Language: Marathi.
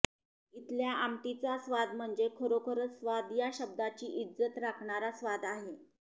इथल्या आमटिचा स्वाद म्हणजे खरोखर स्वाद या शब्दाची इज्जत राखणारा स्वाद आहे